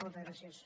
moltes gràcies